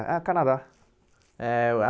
É o Canadá. É o a